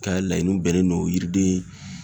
Ka laɲiniw bɛnnen don yiriden